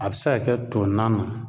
A bɛ se ka kɛ to na na